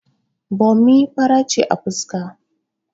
Bommi fara ce a fuska